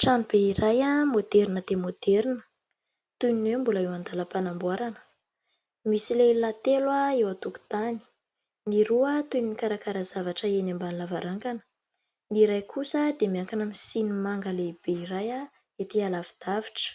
tranobe iray a moderna dia moderna toy ny hoeo mbola eo an-dalam-panamboarana misy lehilahy telo eo an-tokon-tany ny roa toy ny karakara zavatra eny ambany lavarangana ny iray kosa dia miankana mysy ny manga lehibe iray ah etỳ alavy-davitra